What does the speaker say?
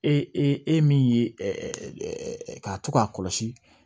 E e e min ye k'a to k'a kɔlɔsi